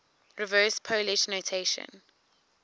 reverse polish notation